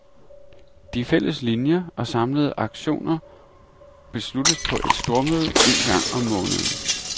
De fælles linier og samlede aktioner besluttes på et stormøde en gang om måneden.